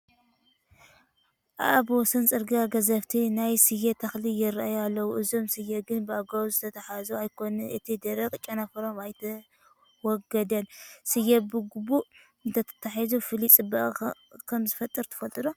ኣብ ወሰን ፅርጊያ ገዘፍቲ ናይ ስየ ተኽሊ ይርአዩ ኣለዉ፡፡ እዞም ስየ ግን ብግቡእ ዝተታሕዙ ኣይኮኑን፡፡ እቲ ደረቕ ጨንፈሮም ኣይተወገደን፡፡ ስየ ብግቡ እንተተታሒዙ ፍሉይ ፅባቐ ከምዝፈጥር ትፈልጡ ዶ?